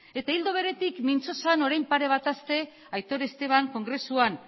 eta ildo beretik mintzo zen orain pare bat aste aitor esteban kongresuan